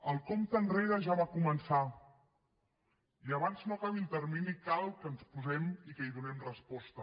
el compte enrere ja va començar i abans que no acabi el termini cal que ens hi posem i que hi donem resposta